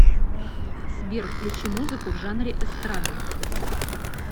сбер включи музыку в жанре эстрада